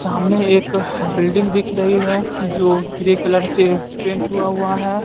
सामने एक बिल्डिंग दिख रही है जो ग्रे कलर से पेंट हुवा हुआ है।